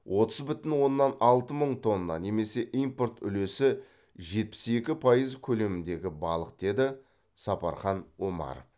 отыз бүтін оннан алты мың тонна немесе импорт үлесі жетпіс екі пайыз көлеміндегі балық деді сапархан омаров